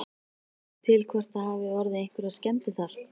Veistu til hvort að það hafi orðið einhverjar skemmdir þar?